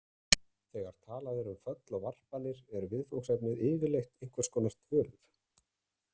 Þegar talað er um föll og varpanir er viðfangsefnið yfirleitt einhvers konar tölur.